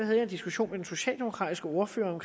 jeg en diskussion med den socialdemokratiske ordfører